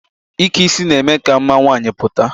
Ike isi na-eme ka mma nwaanyị pụta.